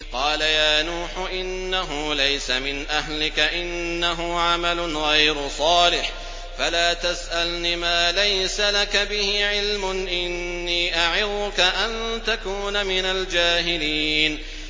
قَالَ يَا نُوحُ إِنَّهُ لَيْسَ مِنْ أَهْلِكَ ۖ إِنَّهُ عَمَلٌ غَيْرُ صَالِحٍ ۖ فَلَا تَسْأَلْنِ مَا لَيْسَ لَكَ بِهِ عِلْمٌ ۖ إِنِّي أَعِظُكَ أَن تَكُونَ مِنَ الْجَاهِلِينَ